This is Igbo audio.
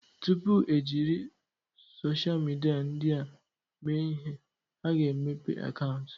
Tupu e jiri sochịa midia ndị a mee ihe, a ga-emepe akaụntụ.